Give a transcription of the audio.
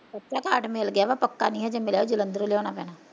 ਕੱਚਾ card ਮਿਲ ਗਿਆ ਵਾ, ਪੱਕਾ ਨੀ ਅਜੇ ਮਿਲਿਆ, ਓ ਜਲੰਧਰੋਂ ਲਿਆਉਣਾ ਪੈਣਾ